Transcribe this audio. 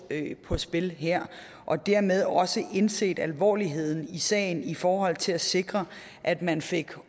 på spil her og dermed også have indset alvorligheden i sagen i forhold til at sikre at man fik